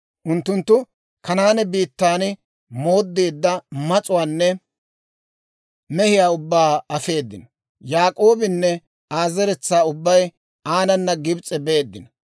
Unttunttu Kanaane biittan mooddeedda mas'uwaanne mehiyaa ubbaa afeedino. Yaak'oobinne Aa zeretsaa ubbay aanana Gibs'e beeddino.